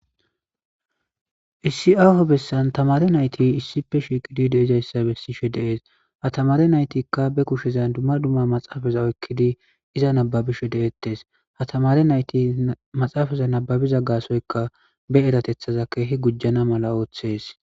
issi hessan tamare nayti issipe shikidi deizayssa bessishe dees ha tamare naytikka be kushezan dumma dumma maxaafaza oykkidi iza nababisho de7ettes ha tamare nayti maxaafaza nababiza gaasoyka be eratethaza keehi gujjana mala ooththees